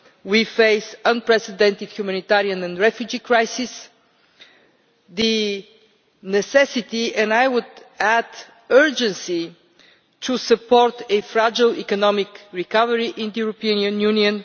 We face unprecedented humanitarian and refugee crises the necessity and, I would add, urgency of supporting a fragile economic recovery in the European Union.